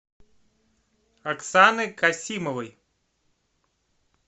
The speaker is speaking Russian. оксаны касимовой